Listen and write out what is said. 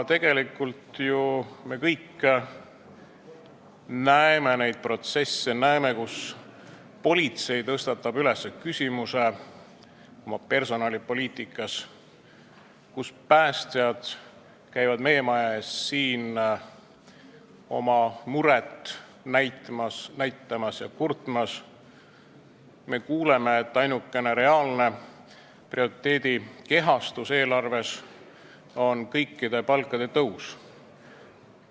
Tegelikult ju me kõik teame neid protsesse, teame, et politsei tõstatab küsimuse oma personalipoliitikast, teame, et päästjad käivad meie maja ees siin oma muret kurtmas, aga kuuleme, et ainukene reaalne prioriteedi kehastus eelarves on kõikide palkade tõus.